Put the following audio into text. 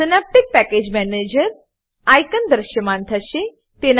Synaptic package manager Synaptic package manager icon દૃશ્યમાન થશે